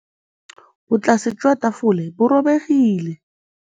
Botlasê jwa tafole bo robegile.